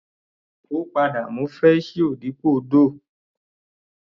Ó padà mú fresh you dípò Doogh.